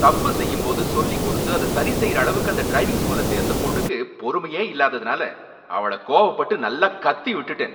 தப்பு செய்யும்போது சொல்லி கொடுத்து அத சரிசெய்யற அளவுக்கு அந்த ட்ரிவிங் ஸ்கூல சேர்ந்த பொண்ணுக்கு பொறுமையே இல்லாததுனால அவள கோவப்பட்டு நல்லா கத்திவிட்டுட்டேன்.